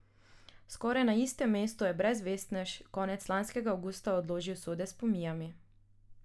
Skoraj na istem mestu je brezvestnež konec lanskega avgusta odložil sode s pomijami.